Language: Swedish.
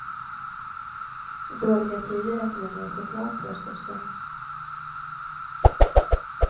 I dåliga tider äter vi mer choklad, påstås det.